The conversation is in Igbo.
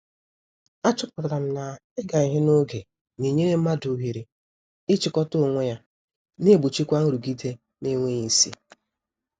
A chọpụtara m na- ịga ihe n'oge na-enyere mmadụ oghere ị chịkọta onwe ya, na egbochikwa nrụgide n'enweghị isi.